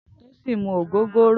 Tosin n mú ógógóró